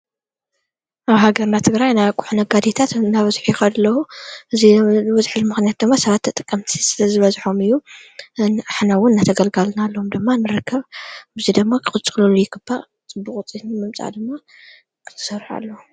ኣብ ሃገር ትግራይ ናይ ኣቁሑ ነጋዴታት እናበዙሑ ይኸዱ አለዉ። እዙይ ዝበዝሐሉ ምኽንያት ድማ ሰባተ ተጠቀምቲ ስለ ዝበዝሖም እዩ። ንሕናውን እነተገልጋልናለዎም ደማ ንረከብ ብዙይ ደማ ክፅሉሉ ይግባእ ፅቡቅ ውፅኢት ንምመፃእ ድማ ክሰርሑ ኣለዎም።